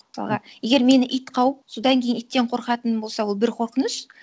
мысалға егер мені ит қауып содан кейін иттен қорқатыңым болса ол бір қорқыныш